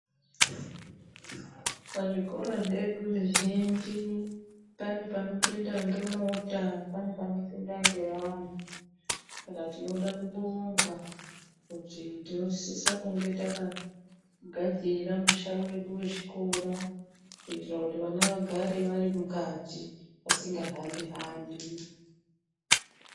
Pazvikora zvedu zvizhinji pane panopinda ngemota, pane panopinda ngevantu. Saka tinoda kubonga kuti tinosise kunge takagadzira musha wedu wechikora, kuitira kuti vana vagare vari mukati vasingahambi-hambi.